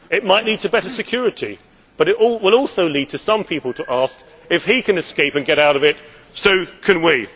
It might lead to better security, but it will also lead some people to say if he can escape and get out of it, so can